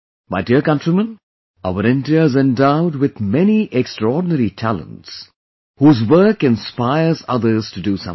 My dear countrymen, our India is endowed with many extraordinary talents, whose work inspires others to do something